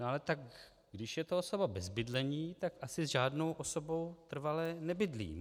No ale tak když je to osoba bez bydlení, tak asi s žádnou osobou trvale nebydlí.